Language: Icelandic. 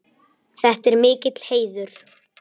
Þetta er mikill heiður.